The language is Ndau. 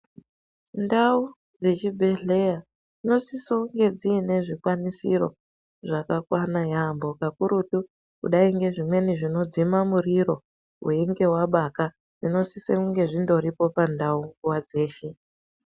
Ndau dzechibhedhleya dzinosise kunge dziine zvikwanisiro zvakakwana yaampo kakurutu kudai ngezvimweni zvinodzima muriro kana uchinge wabata zvinosisa kunge zvindoripo pandau dzeshe.